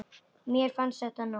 Mér fannst þetta nóg.